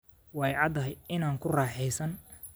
Way caddahay in aanu ku raaxaysan.